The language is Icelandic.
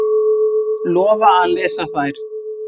Lofa að lesa þær.